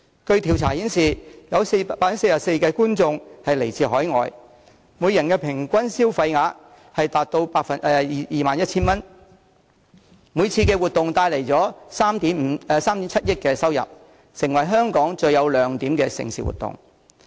據調查顯示，該項賽事有 44% 觀眾來自海外，每人平均消費額達到 21,000 元，每次活動可帶來 370,000,000 元收入，是香港最有亮點的盛事活動。